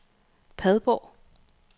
Padborg